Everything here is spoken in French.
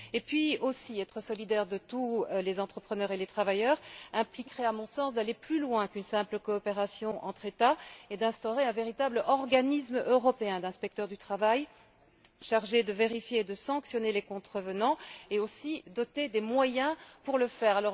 Par ailleurs, être solidaire de tous les entrepreneurs et les travailleurs impliquerait, à mon sens, d'aller plus loin qu'une simple coopération entre États et d'instaurer un véritable organisme européen d'inspecteurs du travail chargé de vérifier et de sanctionner les contrevenants et aussi doté des moyens pour le faire.